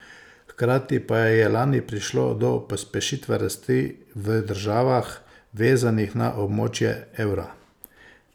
Hkrati pa je lani prišlo do pospešitve rasti v državah, vezanih na območje evra.